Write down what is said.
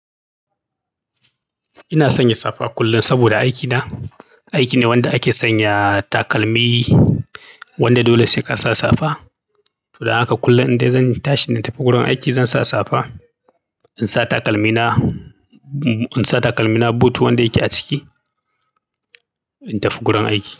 Ina sanya safa kullum saboda aikina. Aiki ne wanda ake sanya takalmi wanda dole sai ka sa safa. Don haka kullum in dai zan tashi na tafi gurin aiki zan sa safa, in sa takalmina, in sa takalmina boot wanda yake a ciki, in tafi gurin aiki.